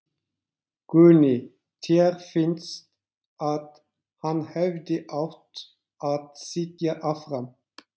Guðný: Þér finnst að hann hefði átt að sitja áfram?